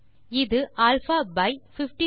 இது α5732